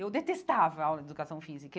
Eu detestava aula de educação física.